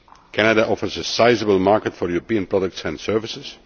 Canada offers a sizeable market for European products and services.